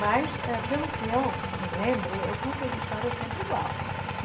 Mas, eh pelo que eu me lembre, eu conto as histórias sempre igual.